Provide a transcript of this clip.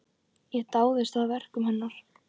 Ég dáðist að verkum hennar.